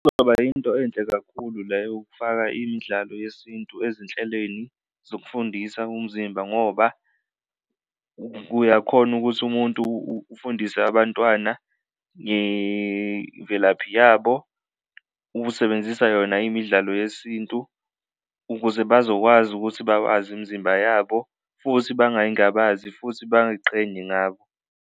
Kungaba yinto enhle kakhulu le yokufaka imidlalo yesintu ezinhleleni zokufundisa umzimba ngoba uyakhona ukuthi umuntu ufundise abantwana ngemvelaphi yabo, ube usebenzisa yona imidlalo yesintu ukuze bazokwazi ukuthi bawazi imizimba yabo futhi bangayingabazi futhi bayiqhenye ngabo.